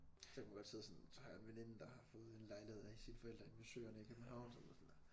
Så kan man godt sidde sådan så har jeg en veninde der har fået en lejlighed af sine forældre inde ved søerne i København